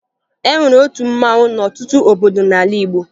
E nwere otu mmanwụ n'ọtụtụ obodo n'ala Igbo